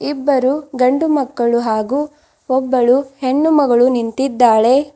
ಇಬ್ಬರು ಗಂಡು ಮಕ್ಕಳು ಹಾಗು ಒಬ್ಬಳು ಹೆಣ್ಣು ಮಗಳು ನಿಂತಿದ್ದಾಳೆ.